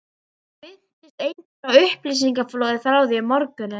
Það minntist enginn á upplýsingaflóðið frá því um morguninn.